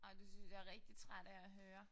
Ej det synes jeg rigtig træt af at høre